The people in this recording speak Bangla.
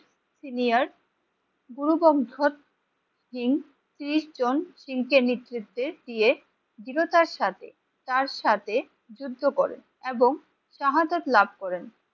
সিনিয়র গুরু সিং ত্রিশ জন সিং কে নেতৃত্বে দিয়ে দৃঢ়তার তার সাথে তার সাথে যুদ্ধ করে এবং শাহাদৎ লাভ করেন।